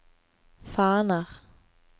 faner